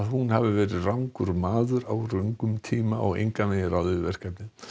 hún hafi verið rangur maður á röngum tíma og engan veginn ráðið við verkefnið